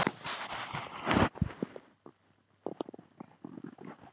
Ég bjarga mér, sagði ég og lést vera miklu hressari en ég var.